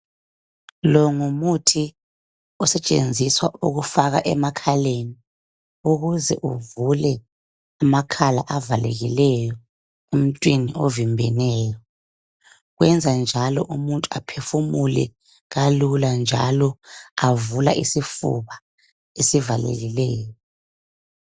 Lo ngumuthi osetshenziswa ukufaka emakhaleni ukuze uvule amakhala avalekileyo emuntwini ovimbeneyo. Wenza njalo umuntu aphefumule kalula njalo avula isifuba esivalekileyo.